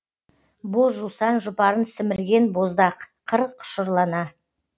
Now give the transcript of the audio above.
боз жусан жұпарын сімірген боздақ қыр құшырлана